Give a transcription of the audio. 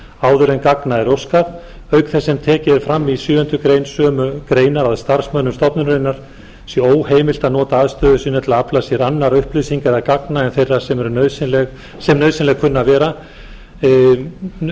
áður en gagna er óskað auk þess sem tekið er fram í sjöunda málsgrein sömu greinar að starfsmönnum stofnunarinnar sé óheimilt að nota aðstöðu sína til að afla sér annarra upplýsinga eða gagna en þeirra sem eru nauðsynleg eða kunna að vera nauðsynleg